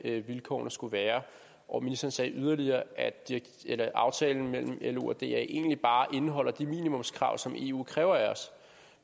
vilkårene skal være og ministeren sagde yderligere at aftalen mellem lo og da egentlig bare indeholder de minimumskrav som eu kræver af os